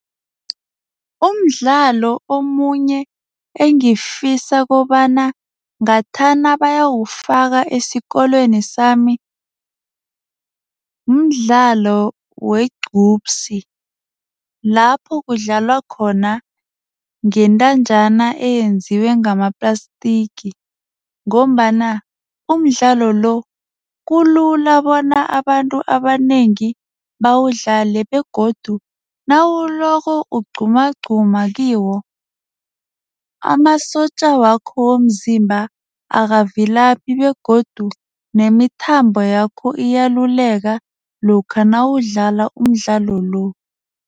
Umdlalo omunye engifisa kobana ngathana bayawufaka esikolweni sami, mdlalo wegcubsi lapho kudlalwa khona ngentanjana eyenziwe ngama-plastic ngombana umdlalo lo kulula bona abantu abanengi bawudlale begodu nawuloko ukugqumagquma kiwo, amasotja wakho womzimba akavilaphi begodu nemithambo yakho iyaluleka lokha nawudlala umdlalo lo.